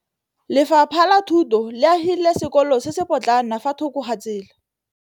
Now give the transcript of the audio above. Lefapha la Thuto le agile sekôlô se se pôtlana fa thoko ga tsela.